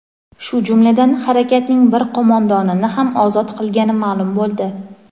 shu jumladan harakatning bir qo‘mondonini ham ozod qilgani ma’lum bo‘ldi.